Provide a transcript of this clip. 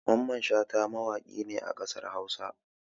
Mamman Shata mawaƙi ne a ƙasar Hausa